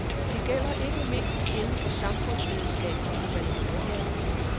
Det gælder ikke mindst inden for samfundsvidenskab og humaniora.